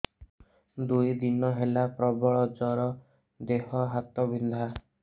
ଦୁଇ ଦିନ ହେଲା ପ୍ରବଳ ଜର ଦେହ ହାତ ବିନ୍ଧା